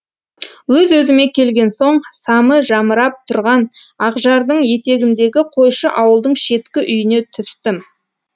өз өзіме келген соң самы жамырап тұрған ақжардың етегіндегі қойшы ауылдың шеткі үйіне түстім